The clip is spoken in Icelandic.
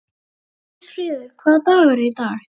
Kristfríður, hvaða dagur er í dag?